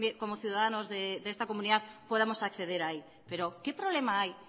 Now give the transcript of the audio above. como ciudadanos de esta comunidad podamos acceder ahí pero qué problema hay